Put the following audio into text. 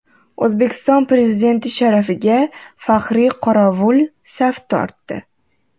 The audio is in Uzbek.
O‘zbekiston Prezidenti sharafiga faxriy qorovul saf tortdi.